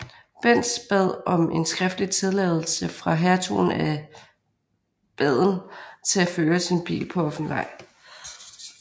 Benz bad om en skriftlig tilladelse fra Hertugen af Baden til at føre sin bil på offentlig vej